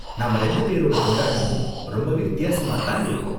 நாம ரெண்டு பேரோட கொண்டாட்டமும் ரொம்பவே வித்தியாசமா தான் இருக்கும்.